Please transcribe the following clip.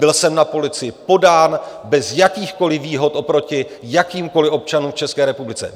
Byl jsem na policii podán bez jakýchkoliv výhod oproti jakýmkoli občanům v České republice.